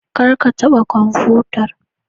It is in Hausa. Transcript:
Kar ka taɓa kwamfutar.